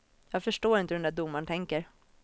Jag förstår inte hur den där domaren tänker.